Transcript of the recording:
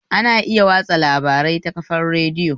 Ana iya watsa labari ta kafar radiyo